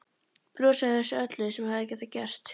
Brosi að þessu öllu sem hefði getað gerst.